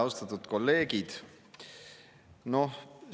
Austatud kolleegid!